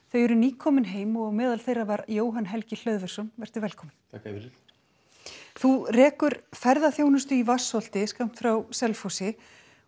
þau eru nýkomin heim og á meðal þeirra var Jóhann Helgi Hlöðversson velkominn þú rekur ferðaþjónustu í Vatnsholti skammt frá Selfossi